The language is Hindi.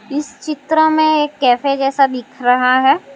इस चित्र में एक कैफे जैसा दिख रहा है।